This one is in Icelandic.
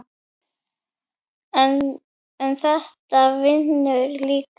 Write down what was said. en þetta vinnur líka.